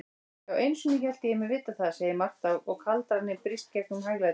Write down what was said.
Já, einusinni hélt ég mig vita það, segir Marta og kaldraninn brýst gegnum hæglætið.